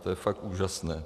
To je fakt úžasné.